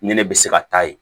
Ni ne bɛ se ka taa yen